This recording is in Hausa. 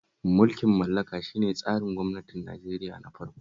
Mulkin mallaka shi ne tsarin gwamnatin Nigeria na farko